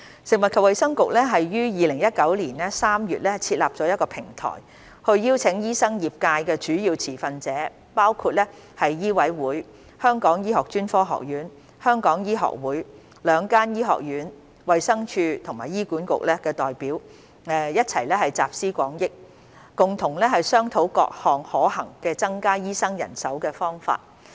食物及衞生局於2019年3月設立一個平台，邀請醫生業界的主要持份者，包括醫委會、香港醫學專科學院、香港醫學會、兩間醫學院、衞生署和醫管局的代表一起集思廣益，共同商討各個增加醫生人手的可行方法。